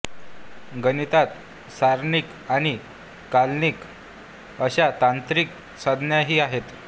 गणितात सारणिक आणि कलनीय अशा तांत्रिक संज्ञाही आहेत